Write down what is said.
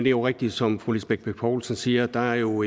jo rigtigt som fru lisbeth bech poulsen siger at der jo